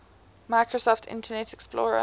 microsoft internet explorer